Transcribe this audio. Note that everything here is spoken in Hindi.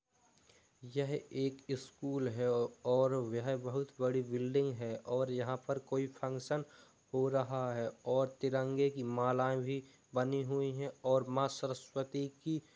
यह एक स्कूल है और वह बोहोत बड़ी बिल्डिंग है और यहां पर कोई फंक्शन हो रहा है और तिरंगे की मालाएं भी बनी हुई हैं और मां सरस्वती की--